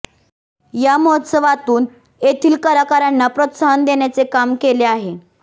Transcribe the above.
या महोत्सवातून येथील कलाकारांना प्रोत्साहन देण्याचे काम केले आहे